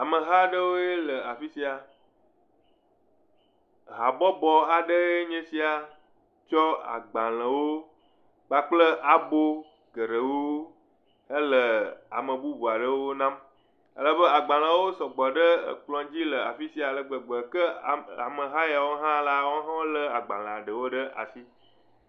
Ameha aɖewoe le afi sia. Habɔbɔ aɖee nye sia tsɔ agbalẽwo kpakple abo geɖewo hele ame bubu aɖewo nam. Alebe agbalẽwo sɔgbɔ ɖe ekplɔ̃dzi le afi sia ale gbegbe. Ke ame, ameha yawo hã la woawo hã wolé agbalẽa ɖewo ɖe asi.